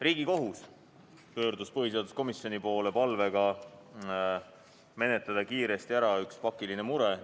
Riigikohus pöördus põhiseaduskomisjoni poole palvega menetleda kiiresti ära üks pakiline mure.